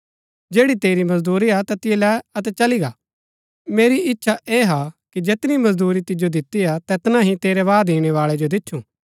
जैड़ी तेरी मजदूरी हा तैतिओ लै अतै चली गा मेरी इच्छा ऐह हा कि जैतनी मजदूरी तिजो दितिआ तैतना ही तेरै बाद ईणैबाळै जो दिछुं